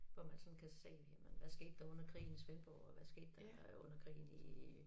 Hvor man sådan kan se jamen hvad skete der under krigen i Svendborg og hvad skete der under krigen i